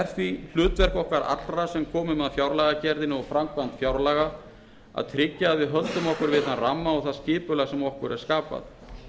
því hlutverk okkar allra sem komum að fjárlagagerðinni og framkvæmd fjárlaga að tryggja að við höldum okkur við þann ramma og það skipulag sem okkur er skapað